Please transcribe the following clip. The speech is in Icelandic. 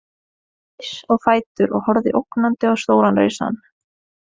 Hann reis á fætur og horfði ógnandi á stóran risann.